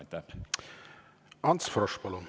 Ants Frosch, palun!